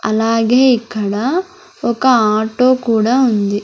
అలాగే ఇక్కడ ఒక ఆటో కూడా ఉంది.